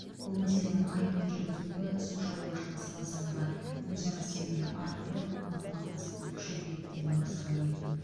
бұл мәселенің айқын жүргізілуі су шаруашылығы саласындағы өзара сенімді арттырып ынтымақтастықты күшейтеді деді мырзағалиев